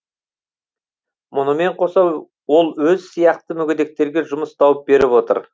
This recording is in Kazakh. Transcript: мұнымен қоса ол өз сияқты мүгедектерге жұмыс тауып беріп отыр